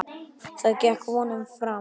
Það gekk vonum framar.